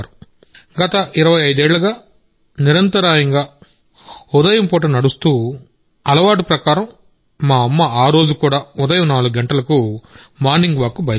గత ఇరవై ఐదేళ్లుగా నిరంతరాయంగా మార్నింగ్ వాక్ చేసే అలవాటు ప్రకారం మా అమ్మ ఉదయం 4 గంటలకు మార్నింగ్ వాక్ కు బయలుదేరారు